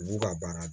U b'u ka baara